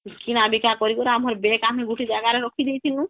କିଣା ବିକା କରି କରି ଆମର bag ଆମେ ଗୁଟେ ଜାଗାର ରଖି ଦେଇଥିନୁ